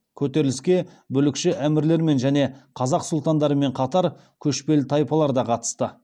көтеріліске бүлікші әмірлермен және қазақ сұлтандарымен қатар көшпелі тайпалар да қатысты